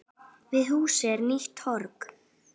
Við húsið er nýtt torg.